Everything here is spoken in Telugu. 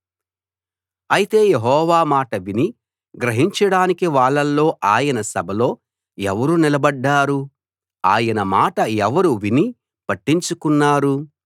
అయితే యెహోవా మాట విని గ్రహించడానికి వాళ్ళలో ఆయన సభలో ఎవరు నిలబడ్డారు ఆయన మాట ఎవరు విని పట్టించుకున్నారు